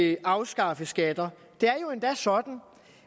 at afskaffe skatter det er jo endda sådan